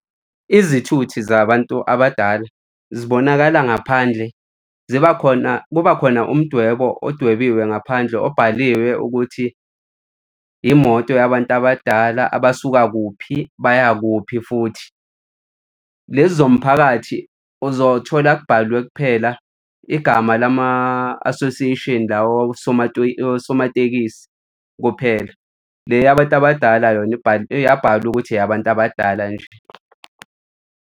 Izithuthi zabantu abadala zibonakala ngaphandle ziba khona, kuba khona umdwebo odwebiwe ngaphandle obhaliwe ukuthi imoto yabantu abadala abasuka kuphi, baya kuphi futhi. Lezi zomphakathi uzothola kubhalwe kuphela igama lama-association la osomatekisi kuphela. Le yabantu abadala yona iyabhalwa ukuthi eyabantu abadala nje.